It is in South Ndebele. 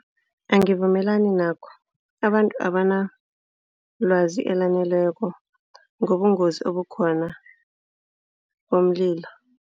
Angivumelani nakho, abantu abanalwazi elaneleko ngobungozi obukhona bomlilo.